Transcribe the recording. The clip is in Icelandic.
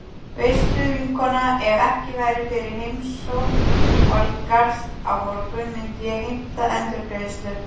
Veistu vinkona, ef ekki væri fyrir heimsókn Valgarðs á morgun myndi ég heimta endurgreiðslu.